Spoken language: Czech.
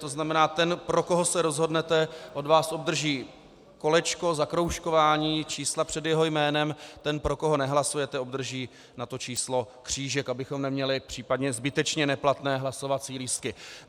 To znamená, ten, pro koho se rozhodnete, od vás obdrží kolečko, zakroužkování čísla před jeho jménem, ten, pro koho nehlasujete, obdrží na to číslo křížek, abychom neměli případně zbytečně neplatné hlasovací lístky.